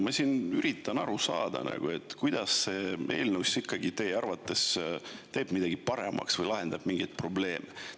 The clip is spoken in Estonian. Ma siin üritan aru saada, kuidas see eelnõu ikkagi teie arvates teeb midagi paremaks või lahendab mingeid probleeme.